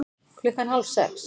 Klukkan hálf sex